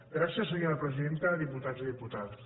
gràcies senyora presidenta diputats i diputades